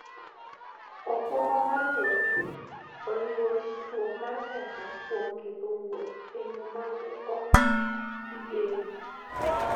okumba mar wuoth oriwo ritruok mar pesa kuom ketho wuoth e yo ma ne ok igeno.